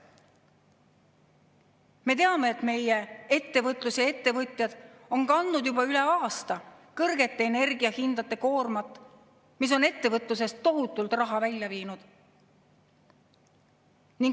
Me teame, et meie ettevõtlus ja ettevõtjad on kandnud juba üle aasta kõrgete energiahindade koormat, mis on ettevõtlusest tohutult raha välja viinud.